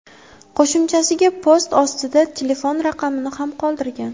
Qo‘shimchasiga, post ostida telefon raqamini ham qoldirgan.